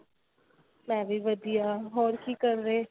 ਮੈਂ ਵੀ ਵਧੀਆ ਹੋਰ ਕੀ ਕਰ ਰਹੇ